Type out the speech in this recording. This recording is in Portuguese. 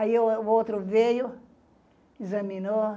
Aí o outro veio, examinou,